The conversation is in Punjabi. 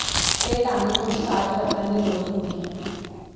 ਇਹ ਢੰਗ ਕੁਝ ਸਾਜ਼ ਵਰਤਣ ਦੀ ਲੋੜ ਹੁੰਦੀ ਹੈ